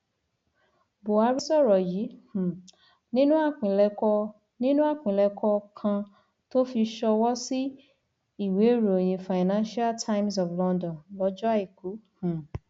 buhari sọrọ yìí um nínú àpilẹkọ nínú àpilẹkọ kan tó fi sọwọ sí ìwéèròyìn financial times of london lọjọ àìkú um